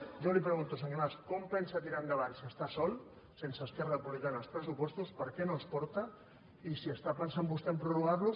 jo li pregunto senyor mas com pensa tirar endavant si està sol sense esquerra republicana els pressupostos per què no els porta i si està pensant vostè a prorrogarlos